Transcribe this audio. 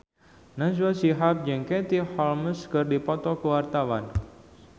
Najwa Shihab jeung Katie Holmes keur dipoto ku wartawan